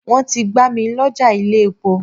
Wọ́n ti gbá mil'ọ́ja ilé-epo